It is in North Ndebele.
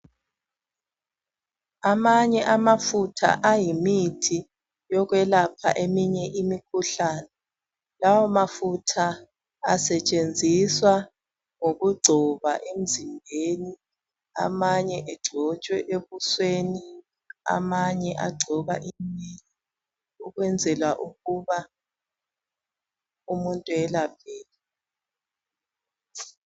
Amanye amafutha ayimithi yokwelapha eminye imikhuhlane lawo mafutha asetshenziswa ngokungcoba emzimbeni amanye engcothswa ebusweni ukwenzela umuntu ayelapheke